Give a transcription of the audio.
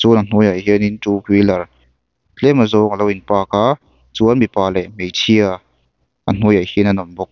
chuan a hnuaiah hianin ṭu hwilar tlem azawng a lo in park a chuan mipa leh hmeichhia a hnuaiah hian an awm bawk.